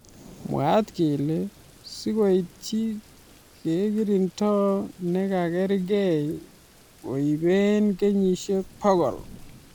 Mwaat kele sikoityi kerkrindo nekarkei koibei kenyisiek bokol.